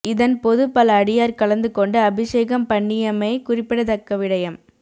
இதன் பொது பல அடியார் கலந்து கொண்டு அபிஷேகம் பண்ணியமை குறிப்பிட தக்கவிடயம்